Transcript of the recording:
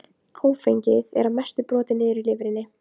Svo veitir hún aftur eftirtekt blöðunum á borðinu.